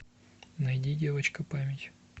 найди девочка память